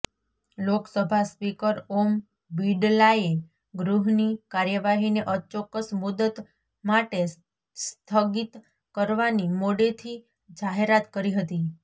Lok Sabha speaker ઓમ બિડલાએ ગૃહની કાર્યવાહીને અચોક્કસ મુદ્દત માટે સ્થગિત કરવાની મોડેથી જાહેરાત કરી હતી